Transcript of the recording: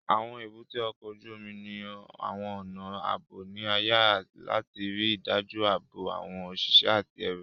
Àwọn èbúté ọkọ̀ ojú omi ní àwọn ọnà ààbò ní ààyè láti ríi dájú ààbò àwọn òṣìṣẹ́ àti ẹrù